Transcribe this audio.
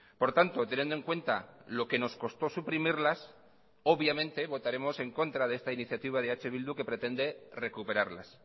por tanto teniendo en cuenta lo que nos costó suprimirlas obviamente votaremos en contra de esta iniciativa de eh bildu que pretende recuperarlas